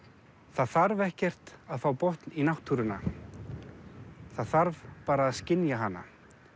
það þarf ekkert að fá botn í náttúruna það þarf bara að skynja hana